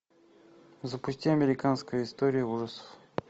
запусти американская история ужасов